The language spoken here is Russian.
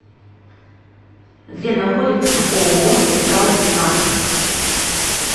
где находится ооо металлснаб